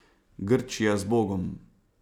Grčija, zbogom!